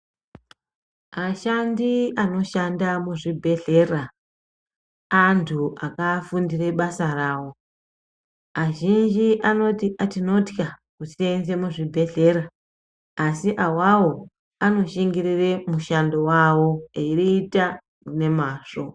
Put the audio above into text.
Ashandi anoshanda mu zvibhedhlera antu aka fundire basa rawo azhinji anoti tinotya kusenze mu zvibhedhlera asi awawo ano shingirire mushando wawo eyi ita ne mazvo.